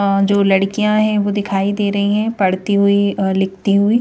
अ जो लड़कियां हैं वो दिखाई दे रही है पढ़ती हुई अ लिखती हुई--